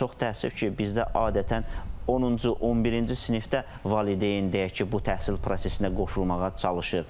çox təəssüf ki, bizdə adətən 10-cu, 11-ci sinifdə valideyn deyək ki, bu təhsil prosesinə qoşulmağa çalışır.